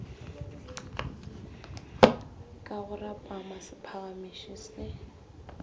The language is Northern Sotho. ka go rapama sephagamiši se